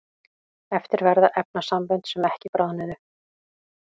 eftir verða efnasambönd sem ekki bráðnuðu